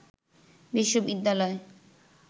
বিশ্ববিদ্যালয়